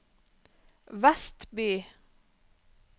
Vestby